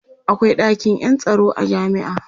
akwai ɗakin Yan tsaro a jami'a